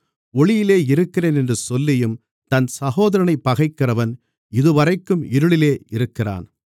ஒளியிலே இருக்கிறேன் என்று சொல்லியும் தன் சகோதரனைப் பகைக்கிறவன் இதுவரைக்கும் இருளிலே இருக்கிறான்